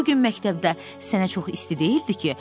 bu gün məktəbdə sənə çox isti deyildi ki?